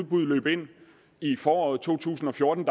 bud løb ind i foråret to tusind og fjorten